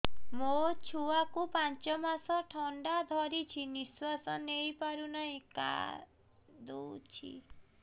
ମୋ ଛୁଆକୁ ପାଞ୍ଚ ମାସ ଥଣ୍ଡା ଧରିଛି ନିଶ୍ୱାସ ନେଇ ପାରୁ ନାହିଁ କାଂଦୁଛି